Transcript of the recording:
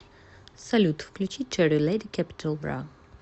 салют включи черри леди кэпитал бра